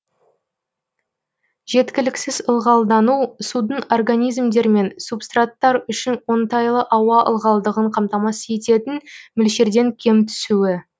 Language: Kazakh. жеткіліксіз ылғалдану судың организмдер мен субстраттар үшін оңтайлы ауа ылғалдығын қамтамасыз ететін мөлшерден кем түсуі